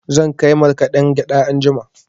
Zan kai markaɗen gyaɗa anjima.